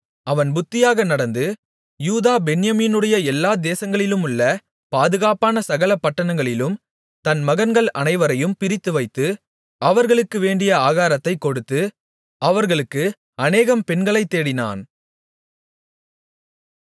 அவன் புத்தியாக நடந்து யூதா பென்யமீனுடைய எல்லா தேசங்களிலுமுள்ள பாதுகாப்பான சகல பட்டணங்களிலும் தன் மகன்கள் அனைவரையும் பிரித்துவைத்து அவர்களுக்கு வேண்டிய ஆகாரத்தைக் கொடுத்து அவர்களுக்கு அநேகம் பெண்களைத் தேடினான்